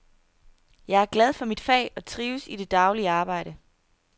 Jeg er glad for mit fag og trives i det daglige arbejde.